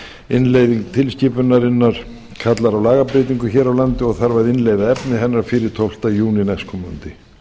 innleiðing tilskipunarinnar kallar á lagabreytingar hér á landi og þarf að innleiða efni hennar fyrir tólfta júní næstkomandi